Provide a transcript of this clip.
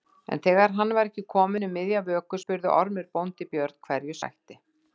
En þegar hann var ekki kominn um miðja vöku spurði Ormur bóndi Björn hverju sætti.